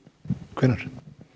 hvenær